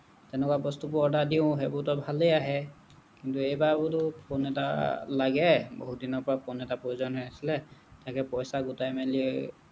তেনেকুৱা বস্তুবোৰ order দিওঁ ভালেই আহে কিন্তু এইবাৰ বোলো ফোন এটা লাগে বহুত দিনৰ পৰা phone এটা প্ৰয়োজন হৈ আছিলে তাকে পইচা গোটাই মেলি